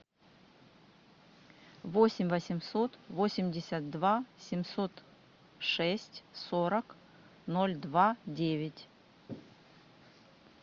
восемь восемьсот восемьдесят два семьсот шесть сорок ноль два девять